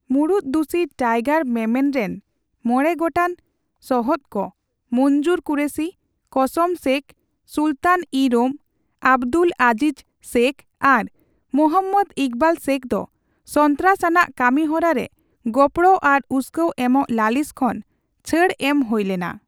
ᱢᱩᱲᱩᱫ ᱫᱩᱥᱤ ᱴᱟᱭᱜᱟᱨ ᱢᱮᱢᱮᱱ ᱨᱮᱱ ᱢᱚᱬᱮ ᱜᱚᱴᱟᱝ ᱥᱚᱦᱚᱫᱠᱚ ᱢᱚᱧᱡᱩᱨ ᱠᱩᱨᱮᱥᱤ, ᱠᱚᱥᱚᱢ ᱥᱮᱠᱷ, ᱥᱩᱞᱛᱟᱱᱼᱤᱼᱨᱳᱢ, ᱟᱵᱫᱩᱞ ᱟᱡᱤᱡ ᱥᱮᱠᱷ ᱟᱨ ᱢᱚᱦᱚᱢᱢᱚᱫᱽ ᱤᱠᱵᱟᱞ ᱥᱮᱠᱷ ᱫᱚ ᱥᱚᱱᱛᱨᱟᱥ ᱟᱱᱟᱜ ᱠᱟᱹᱢᱤᱦᱚᱨᱟᱨᱮ ᱜᱚᱯᱲᱚ ᱟᱨ ᱩᱥᱠᱟᱹᱣ ᱮᱢᱚᱜ ᱞᱟᱹᱞᱤᱥ ᱠᱷᱚᱱ ᱪᱷᱟᱹᱲ ᱮᱢ ᱦᱳᱭᱞᱮᱱᱟ ᱾